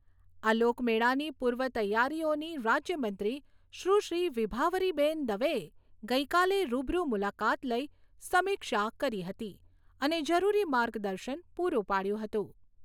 આ લોકમેળાની પૂર્વ તૈયારીઓની રાજ્યમંત્રી સુશ્રી વિભાવરીબેન દવેએ ગઈકાલે રૂબરૂ મુલાકાત લઈ સમીક્ષા કરી હતી અને જરૂરી માર્ગદર્શન પૂરું પાડ્યું હતું.